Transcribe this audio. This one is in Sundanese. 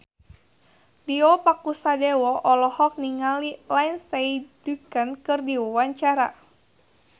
Tio Pakusadewo olohok ningali Lindsay Ducan keur diwawancara